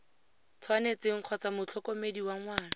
tshwanetseng kgotsa motlhokomedi wa ngwana